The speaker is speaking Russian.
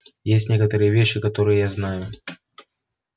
есть некоторые вещи которые я знаю